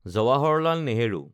Jawaharlal Nehru